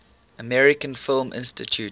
american film institute